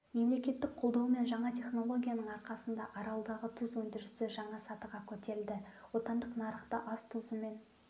мемлекеттік қолдау мен жаңа технолгияның арқасында аралдағы тұз өндірісі жаңа сатыға көтерілді отандық нарықты ас тұзымен